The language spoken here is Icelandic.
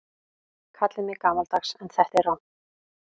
Kallið mig gamaldags en þetta er rangt.